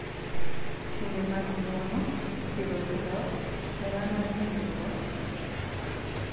Timbe mag ng’wono, siro gi dhok, hera mar ringruok,